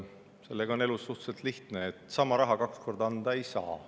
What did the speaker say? Elus on suhteliselt lihtne: sama raha kaks korda anda ei saa.